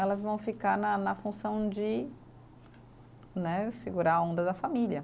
Elas vão ficar na na função de né, segurar a onda da família.